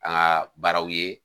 Aa baaraw ye